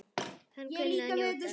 Hann kunni að njóta.